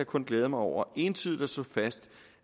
kun glæde mig over entydigt at kunne slå fast